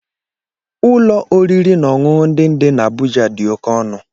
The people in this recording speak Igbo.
Ụlọ oriri na ọṅụṅụ ndị dị na Abuja dị oke ọnụ